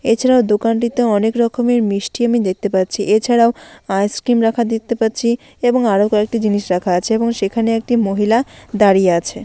এছাড়াও দোকানটিতে অনেক রকমের মিষ্টি আমি দেখতে পাচ্ছি। এছাড়াও আইসক্রিম রাখা দেখতে পাচ্ছি এবং আরো কয়েকটা জিনিস রাখা আছে এবং সেখানে একটি মহিলা দাঁড়িয়ে আছে।